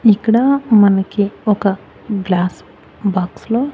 ఇక్కడా మనకి ఒక గ్లాస్ బాక్స్ లో --